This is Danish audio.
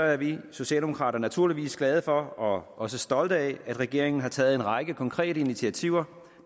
er vi socialdemokrater naturligvis glade for og også stolte af at regeringen har taget en række konkrete initiativer